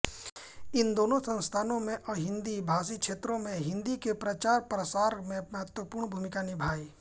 इन दोनों संस्थाओं ने अहिन्दी भाषी क्षेत्रों में हिन्दी के प्रचारप्रसार में महत्वपूर्ण भूमिका निभायी